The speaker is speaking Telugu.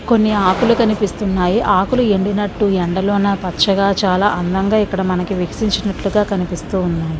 కొన్ని ఆకులు కనిపిస్తున్నాయి. ఆకులు ఎండినట్టు ఎండలోన పచ్చగా చాలా అందంగా ఇక్కడ మనకు వికసించినట్లుగా ఉన్నాయి.